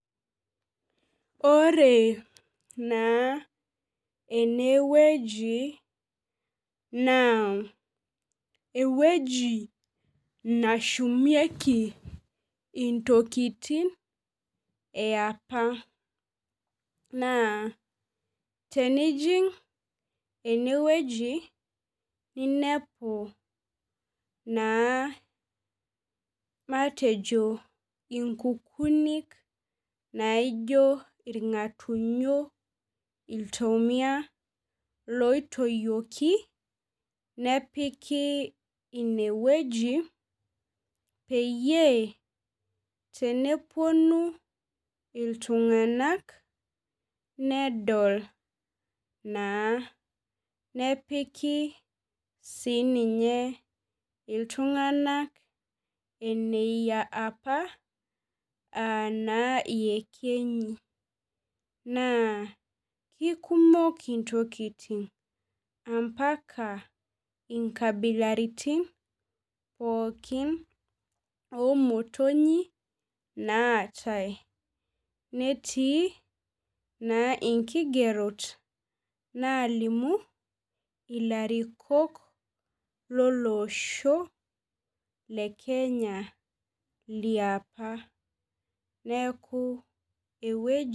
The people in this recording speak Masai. Ore naa enewueji naa ewueji nashumieki intokitin epa naa tenijing enewueji ninepu naa matejo nkukunik naijo irngatunyo , iltomia , loitoyioki inewueji peyie teneponu iltunganak nedol naa . Nepiki sininye iltunganak eneyia apa anaa iyekenyi naa ikumok intokitin ampaka inkabilaritin pookin omotonyi naatae . Netii naa inkigerot nalimu ilarikok loloshho lekenya liapa.